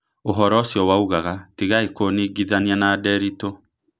Ũhoro ũcio waugaga: " Tigaĩ kũnigithania na Nderitu"